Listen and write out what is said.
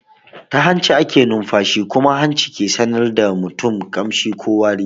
Ta hanci ake nunfashi kuma hanci ke sanar da mutum kamshi ko wari.